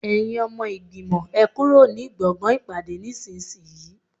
Ẹ̀yin ọmọ ìgbìmọ̀, ẹ kúrò ní gbọ̀ngàn ìpàdé nísinsìnyí